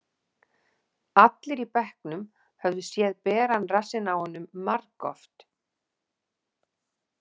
Allir í bekknum höfðu séð beran rassinn á honum margoft.